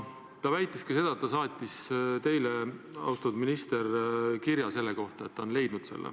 Ta väitis ka seda, et ta saatis teile, austatud minister, kirja selle kohta, et ta on selle leidnud.